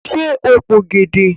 Ṣe o p'ògèdè?